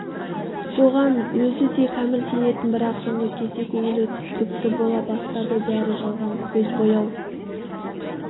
соған өзі де кәміл сенетін бірақ соңғы кезде көңілі күпті бола бастады бәрі жалған көз бояу